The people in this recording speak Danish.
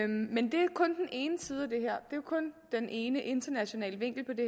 men det er kun den ene internationale vinkel på det